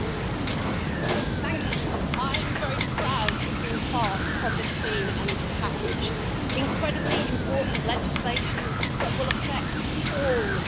Madam President, I am very proud to have been part of this Clean Energy Package incredibly important legislation that will affect all European citizens.